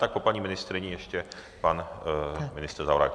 Tak po paní ministryni ještě pan ministr Zaorálek.